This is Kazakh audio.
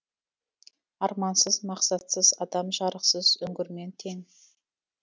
армансыз мақсатсыз адам жарықсыз үңгірмен тең